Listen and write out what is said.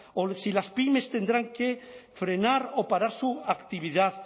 o si las pymes tendrán que frenar o para su actividad